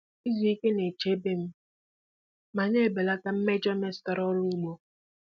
Izu ike na-echebe m ma na-ebelata mmejọ metụtara ọrụ ugbo.